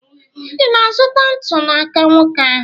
Ị na-azụta ntu n'aka nwoke ahụ?